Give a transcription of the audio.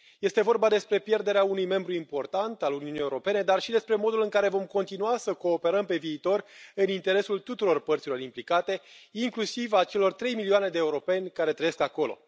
Este vorba despre pierderea unui membru important al Uniunii Europene, dar și despre modul în care vom continua să cooperăm pe viitor, în interesul tuturor părților implicate, inclusiv a celor 3 milioane de europeni care trăiesc acolo.